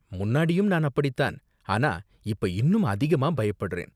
முன்னாடியும் நான் அப்படி தான், ஆனா இப்ப இன்னும் அதிகமா பயப்படுறேன்.